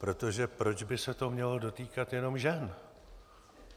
Protože proč by se to mělo dotýkat jenom žen?